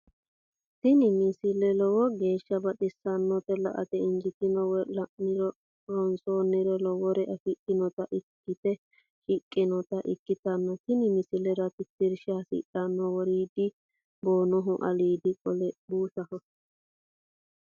tini misile lowo geeshsha baxissannote la"ate injiitanno woy la'ne ronsannire lowore afidhinota ikkite shiqqinota ikkitanna tini misilera tittirsha hasidhanno woriidi boonoho aliidi qole buusaho.